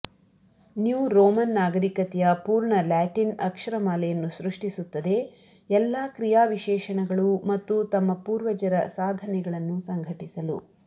new Roman ನಾಗರಿಕತೆಯ ಪೂರ್ಣ Latin ಅಕ್ಷರಮಾಲೆಯನ್ನು ಸೃಷ್ಟಿಸುತ್ತದೆ ಎಲ್ಲಾ ಕ್ರಿಯಾವಿಶೇಷಣಗಳು ಮತ್ತು ತಮ್ಮ ಪೂರ್ವಜರ ಸಾಧನೆಗಳನ್ನು ಸಂಘಟಿಸಲು